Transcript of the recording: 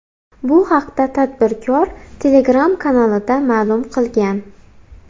Bu haqda tadbirkor Telegram kanalida ma’lum qilgan .